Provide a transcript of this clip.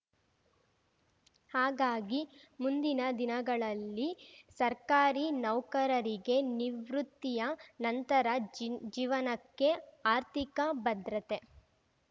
ಹಾಗಾಗಿ ಮುಂದಿನ ದಿನಗಳಲ್ಲಿ ಸರ್ಕಾರಿ ನೌಕರರಿಗೆ ನಿವೃತ್ತಿಯ ನಂತರ ಜಿನ್ ಜೀವನಕ್ಕೆ ಆರ್ಥಿಕ ಭದ್ರತೆ